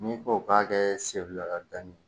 N'i ko k'a kɛ seri ka danni